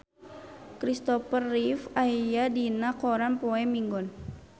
Kristopher Reeve aya dina koran poe Minggon